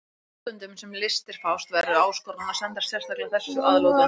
Íslendingum í útlöndum, sem við listir fást, verður áskorun að sendast sérstaklega þessu að lútandi.